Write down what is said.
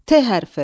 T hərfi.